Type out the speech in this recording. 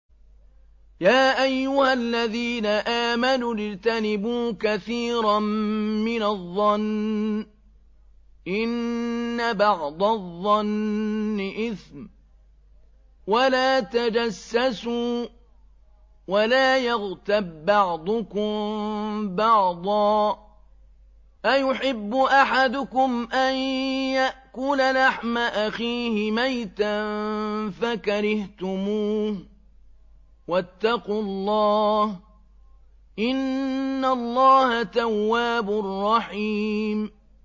يَا أَيُّهَا الَّذِينَ آمَنُوا اجْتَنِبُوا كَثِيرًا مِّنَ الظَّنِّ إِنَّ بَعْضَ الظَّنِّ إِثْمٌ ۖ وَلَا تَجَسَّسُوا وَلَا يَغْتَب بَّعْضُكُم بَعْضًا ۚ أَيُحِبُّ أَحَدُكُمْ أَن يَأْكُلَ لَحْمَ أَخِيهِ مَيْتًا فَكَرِهْتُمُوهُ ۚ وَاتَّقُوا اللَّهَ ۚ إِنَّ اللَّهَ تَوَّابٌ رَّحِيمٌ